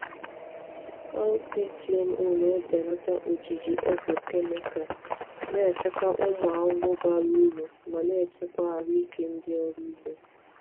Cowpea GMO na-ebelata ojiji ọgwụ kemikal, na-echekwa ụmụ ahụhụ bara uru ma na-echekwa ahụike ndị ọrụ ugbo.